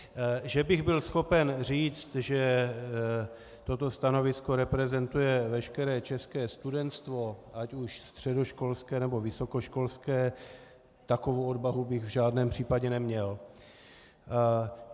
Že bych byl schopen říct, že toto stanovisko reprezentuje veškeré české studentstvo, ať už středoškolské, nebo vysokoškolské, takovou odvahu bych v žádném případě neměl.